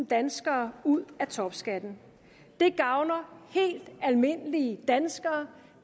danskere ud af topskatten det gavner helt almindelige danskere